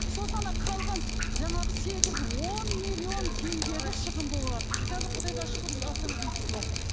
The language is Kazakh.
сосын ана қалған жаңағы сегіз он миллион теңгені шығын болған қазір құдайға шүкір астанада үй түсіватыр